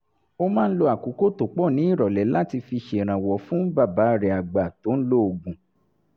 ó máa ń lo àkókò tó pọ̀ ní ìrọ̀lẹ́ láti fi ṣèrànwọ́ fún bàbá rẹ̀ àgbà tó ń lo oògùn